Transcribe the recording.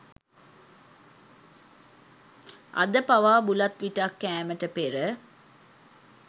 අද පවා බුලත් විටක් කෑමට පෙර